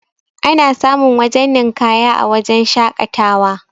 ana samun wajen ninƙaya a wajen shaƙatawa